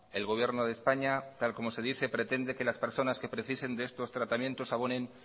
el gobierno de españa tal como se dice pretende que las personas que precisen de estos tratamientos abonen